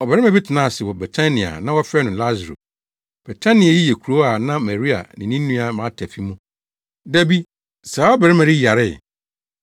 Ɔbarima bi tenaa ase wɔ Betania a na wɔfrɛ no Lasaro. Betania yi yɛ kurow a na Maria ne ne nua Marta fi mu. Da bi, saa ɔbarima yi yaree.